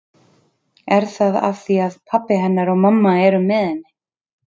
Er það af því að pabbi hennar og mamma eru með henni?